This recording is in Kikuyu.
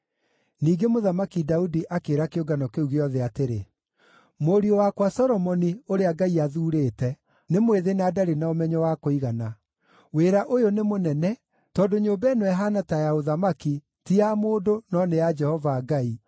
Ningĩ Mũthamaki Daudi akĩĩra kĩũngano kĩu gĩothe atĩrĩ: “Mũriũ wakwa Solomoni, ũrĩa Ngai athuurĩte, nĩ mwĩthĩ na ndarĩ na ũmenyo wa kũigana. Wĩra ũyũ nĩ mũnene, tondũ nyũmba ĩno ĩhaana ta ya ũthamaki ti ya mũndũ no nĩ ya Jehova Ngai.